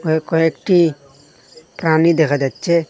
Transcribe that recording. এ কয়েকটি প্রাণী দেখা যাচ্ছে।